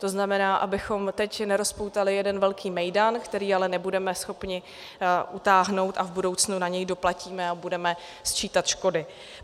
To znamená, abychom teď nerozpoutali jeden velký mejdan, který ale nebudeme schopni utáhnout, a v budoucnu na něj doplatíme a budeme sčítat škody.